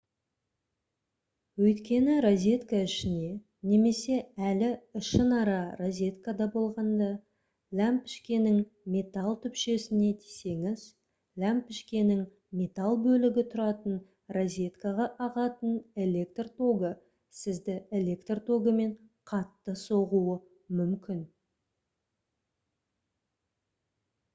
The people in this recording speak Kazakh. өйткені розетка ішіне немесе әлі ішінара розеткада болғанда ләмпішкенің металл түпшесіне тисеңіз ләмпішкенің металл бөлігі тұратын розеткаға ағатын электр тогы сізді электр тогымен қатты соғуы мүмкін